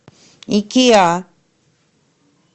икеа